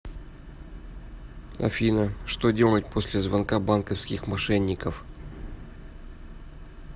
афина что делать после звонка банковских мошенников